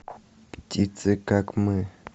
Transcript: птицы как мы